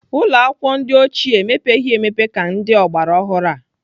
Ụlọakwụkwọ ndị oge ochie emepeghị emepe ka ndị ọgbaraọhụrụ a.